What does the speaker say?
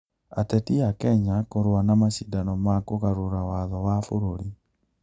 Ateti a Kenya kũrũa na macindano ma kũgarũra watho wa bũrũri